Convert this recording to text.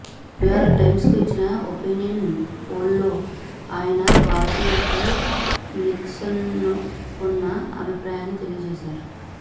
New York టైమ్స్కు ఇచ్చిన opinion పోల్లో ఆయన భారతీయులపై నిక్సన్కున్న అభిప్రాయాన్ని తెలియజేశారు